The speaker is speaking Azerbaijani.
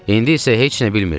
İndi isə heç nə bilmirdik.